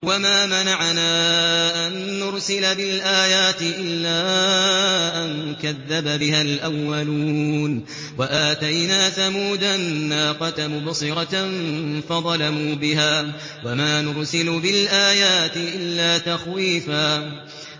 وَمَا مَنَعَنَا أَن نُّرْسِلَ بِالْآيَاتِ إِلَّا أَن كَذَّبَ بِهَا الْأَوَّلُونَ ۚ وَآتَيْنَا ثَمُودَ النَّاقَةَ مُبْصِرَةً فَظَلَمُوا بِهَا ۚ وَمَا نُرْسِلُ بِالْآيَاتِ إِلَّا تَخْوِيفًا